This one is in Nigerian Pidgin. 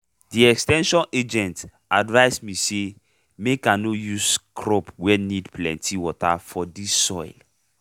de ex ten sion agent advice me say make i nor use crop wey need plenty water for dis soil